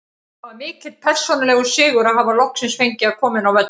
Það var mikill persónulegur sigur að hafa loksins fengið að koma inn á völlinn.